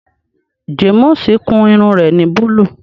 Jàmùsì kún irùn rẹ̀ ni búlú.